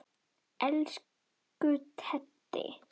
Elsku Teddi.